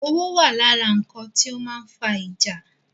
Owó wà lára nkan ti ó máa ń fa ìjà